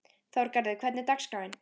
Þorgarður, hvernig er dagskráin?